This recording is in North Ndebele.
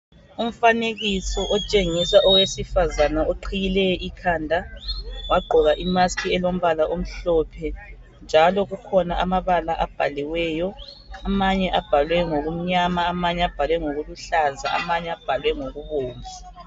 Umfanekiso otshengisa owesifazana oqhiyileyo ikhanda wagqoka imask elombala omhlophe njalo kukhona amabala abhaliweyo amanye abhalwe ngokumnyama amanye abhalwe ngokuluhlaza amanye abhalwe ngokubomvu.